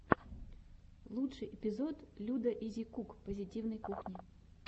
лучший эпизод людаизикук позитивной кухни